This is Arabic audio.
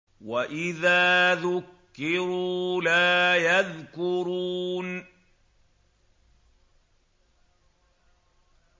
وَإِذَا ذُكِّرُوا لَا يَذْكُرُونَ